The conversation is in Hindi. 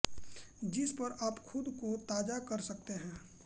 जिस पर आप खुद को ताज़ा कर सकते हैं